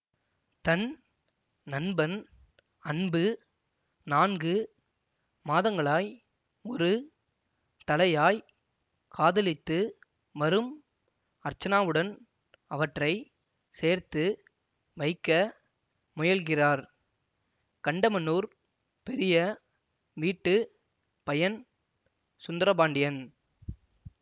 தன் நண்பன் அன்பு நான்கு மாதங்களாய் ஒரு தலையாய் காதலித்து வரும் அர்ச்சனாவுடன் அவற்றை சேர்த்து வைக்க முயல்கிறார் கண்டமனூர் பெரிய வீட்டு பையன் சுந்தரபாண்டியன்